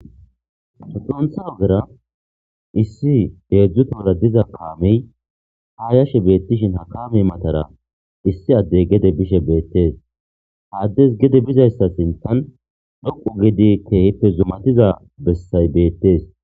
Xunitha ogera isi hedzu tohora diza kameyi ha yishe bettesihin ha kame matara isi adeyi gede bishe betesi ha adezi gede bidayisa sinithani dhoqu gida kehipe zumatida besayi betesi